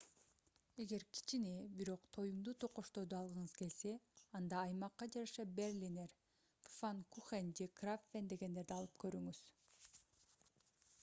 эгер кичине бирок тоюмдуу токочторду алгыңыз келсе анда аймакка жараша берлинер пфаннкухен же крапфен дегендерди алып көрүңүз